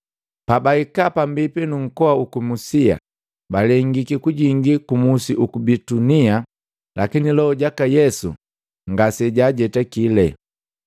Pabahika pambipi nu nkoa uku Musia, balengiki kujingi ku musi uku Bitunia, lakini Loho jaka Yesu ngasejaa jetakile.